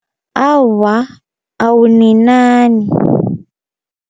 Awa, awuninani.